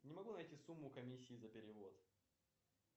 не могу найти сумму комиссии за перевод